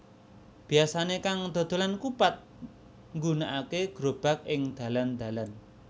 Biasané kang dodolan kupat nggunakaké grobag ing dalan dalan